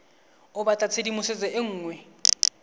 o batla tshedimosetso e nngwe